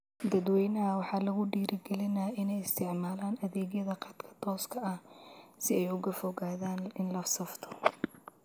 Dadweynaha waxaa lagu dhiirigelinayaa inay isticmaalaan adeegyada khadka tooska ah siay uga fogaadaan inla safto.